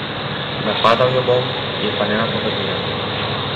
Napadal jo bom, je pa ne napovedujem.